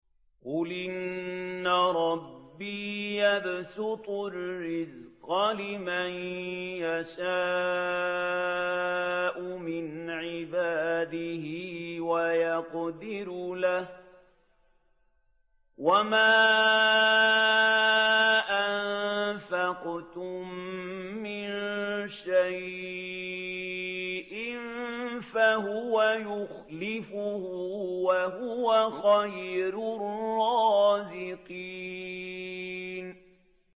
قُلْ إِنَّ رَبِّي يَبْسُطُ الرِّزْقَ لِمَن يَشَاءُ مِنْ عِبَادِهِ وَيَقْدِرُ لَهُ ۚ وَمَا أَنفَقْتُم مِّن شَيْءٍ فَهُوَ يُخْلِفُهُ ۖ وَهُوَ خَيْرُ الرَّازِقِينَ